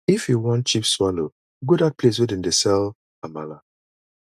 if you wan cheap swallow go dat place wey dem dey sell amala